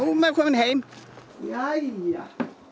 maður komin heim jæja